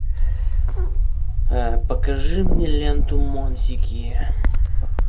покажи мне ленту монсики